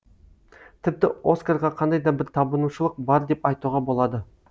тіпті оскарға кандай да бір табынушылық бар деп айтуға болады